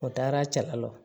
O taara cɛlaw